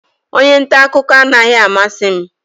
Onye nta akụkọ anaghị amasị m